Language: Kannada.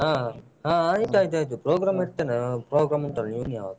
ಹ ಹಾ ಹಾ ಆಯ್ತಾಯ್ತಾಯ್ತು program ಇಡ್ತೇನಲ್ಲ program ಉಂಟಲ್ಲ .